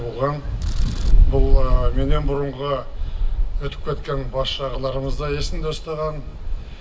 оған бұл меннен бұрынғы өтіп кеткен басшы ағаларымыз да есінде ұстаған